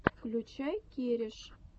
включай кереш